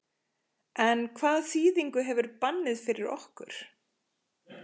En hvaða þýðingu hefur bannið fyrir okkur?